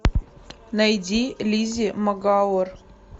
найди лиззи магуайр